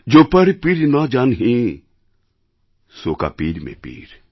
জো পর পীর ন জান হি সো কা পীর মে পীর